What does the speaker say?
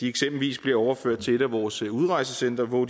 eksempelvis bliver overført til et af vores udrejsecentre hvor